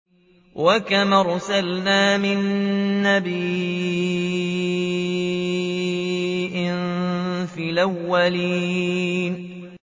وَكَمْ أَرْسَلْنَا مِن نَّبِيٍّ فِي الْأَوَّلِينَ